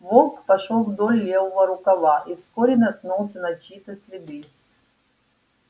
волк пошёл вдоль левого рукава и вскоре наткнулся на чьи то следы